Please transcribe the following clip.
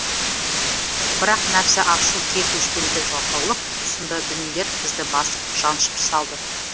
бірақ нәпсі ашу кек өшпенділік жалқаулық сынды дүниелер бізді басып жаншып салды